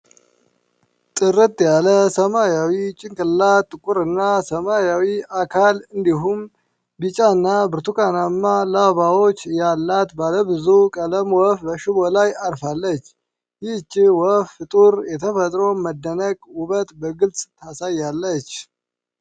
ጥርት ያለ ሰማያዊ ጭንቅላት፣ ጥቁርና ሰማያዊ አካል፣ እንዲሁም ቢጫና ብርቱካናማ ላባዎች ያላት ባለ ብዙ ቀለም ወፍ በሽቦ ላይ አርፋለች። ይህች ውብ ፍጡር የተፈጥሮን መደነቅና ውበት በግልጽ ታሳያለች።